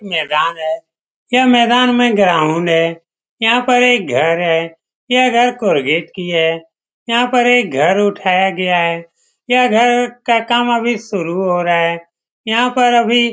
यह मैदान है यह मैदान में ग्राउंड है यहाँ पर एक घर है यह घर की है यहाँ पर एक घर उठाया गया है यह घर का काम अभी शुरू हो रहा है यहाँ पर अभी --